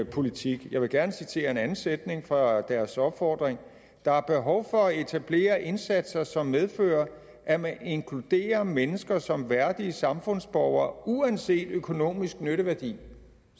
politik jeg vil gerne citere en anden sætning fra deres opfordring der er behov for at etablere indsatser som medfører at man inkluderer mennesker som værdige samfundsborgere uanset økonomisk nytteværdi